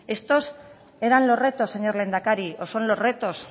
estos eran los retos señor lehendakari o son los retos